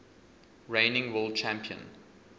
reigning world champion